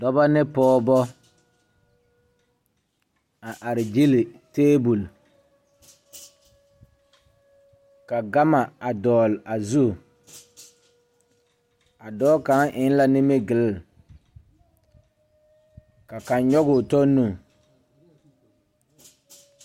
Dɔbɔ ne pɔɔbɔ a are gyile tabol ka gama a dɔgle a zu a dɔɔ kaŋa eŋ la nimgyile kabkaŋ nyogoo tɔ nu.